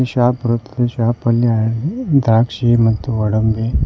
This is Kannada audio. ಈ ಶಾಪ್ ದ್ರಾಕ್ಷಿ ಮತ್ತು ಗೋಡಂಬಿ.